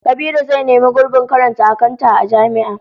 Kabiru zai nemi gurbin karanta akanta a jami'a